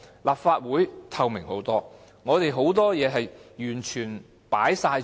立法會透明得多，我們很多事情完全向公眾開放。